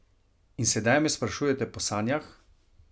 In sedaj me sprašujete po sanjah?